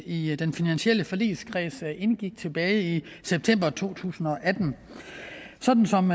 i den finansielle forligskreds indgik tilbage i september to tusind og atten sådan som